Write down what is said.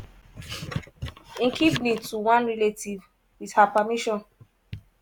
im kidney to one relative wit her permission.